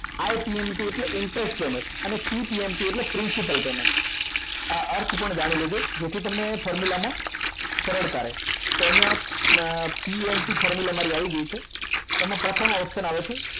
આ PMT એટલે interest payment અને PTMT એટલે principal payment આ અર્થ પણ જાણી લેજો જેથી તમને formula માં સરળતા રહે તો અહીંયા PMT formula આવી ગઈ છે એમાં પ્રથમ option આવે છે